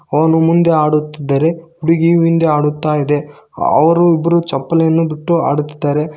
ಅವನು ಮುಂದೆ ಆಡುತ್ತಿದ್ದರೆ ಹುಡುಗಿಯು ಹಿಂದೆ ಆಡುತ್ತಾ ಇದೆ ಅವರಿಬ್ಬರೂ ಚಪ್ಪಲಿಯನ್ನು ಬಿಟ್ಟು ಆಡುತ್ತಿದ್ದಾರೆ.